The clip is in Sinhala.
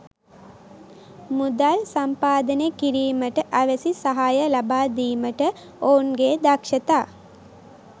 මුදල් සම්පාදනය කිරීමට අවැසි සහාය ලබා දීමට ඔවුන්ගේ දක්ෂතා